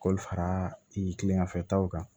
K'olu fara kileganfɛ taw kan